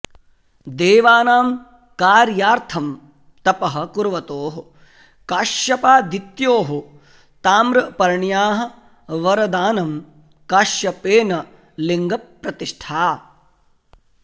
देवानां कार्यार्थं तपः कुर्वतोः काश्यपादित्योः ताम्रपर्ण्याः वरदानं काश्यपेन लिङ्गप्रतिष्ठा